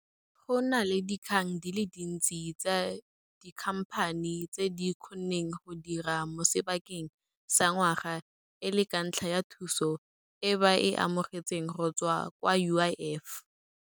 Go na le dikgang di le dintsi tsa dikhamphani tse di kgonneng go dira mo sebakeng sa ngwaga e le ka ntlha ya thuso e ba e amogetseng go tswa kwa UIF.